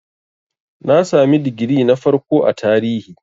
Na sami digiri na farko a Tarihi.